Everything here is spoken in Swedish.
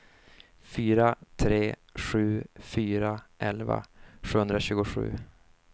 fyra tre sju fyra elva sjuhundratjugosju